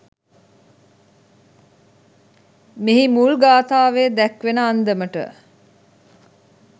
මෙහි මුල් ගාථාවේ දැක්වෙන අන්දමට